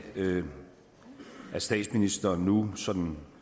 med at statsministeren nu sådan